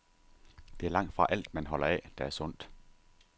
Det er langtfra alt, man holder af, der er sundt.